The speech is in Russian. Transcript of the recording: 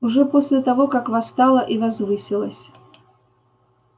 уже после того как восстала и возвысилась